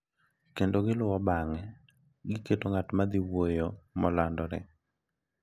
kendo giluwo bang’e gi keto ng’at madhiwuoyo molandore.